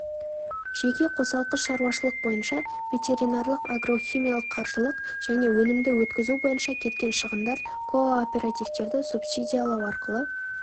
жеке қосалқы шаруашылық бойынша ветеринарлық агрохимиялық қаржылық және өнімді өткізу бойынша кеткен шығындар кооперативтерді субсидиялау арқылы